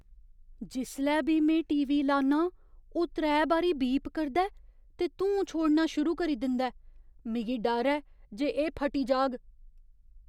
जिसलै बी में टी. वी. लान्नां, ओह् त्रै बारी बीप करदा ऐ ते धूं छोड़ना शुरू करी दिंदा ऐ। मिगी डर ऐ जे एह् फटी जाह्ग।